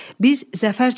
Biz zəfər çalacağıq.